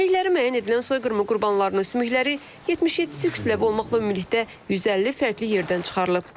Kimlikləri müəyyən edilən soyqırımı qurbanlarının sümükləri 77-si kütləvi olmaqla ümumilikdə 150 fərqli yerdən çıxarılıb.